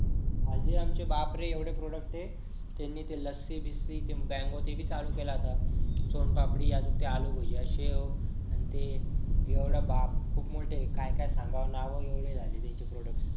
हल्दीराम के बापरे एवढे product आहे त्याने ते लस्सी बिस्सी mango ते भी चालू केलं आता सोनपापडी आलू भुजिया शेव आणि ते बाप खूप मोठं आहे काय काय सांगावं नाव एवढे झालेले आहेत त्यांचे product